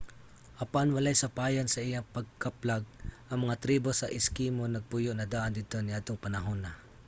apan walay sapayan sa iyang pagkaplag ang mga tribo sa eskimo nagpuyo na daan didto niadtong panahona